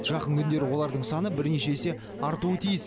жақын күндері олардың саны бірнеше есе артуы тиіс